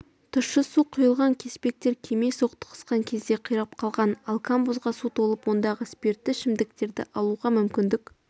тұщы су құйылған кеспектер кеме соқтығысқан кезде қирап қалған ал камбузға су толып ондағы спиртті ішімдіктерді алуға мүмкіндік